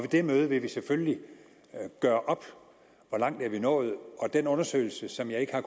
det møde vil vi selvfølgelig gøre op hvor langt vi er nået og den undersøgelse som jeg ikke har